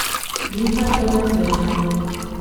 Linhartovem srečanju.